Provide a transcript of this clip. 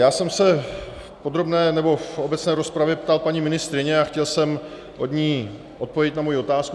Já jsem se v podrobné, nebo v obecné rozpravě ptal paní ministryně a chtěl jsem od ní odpověď na svoji otázku.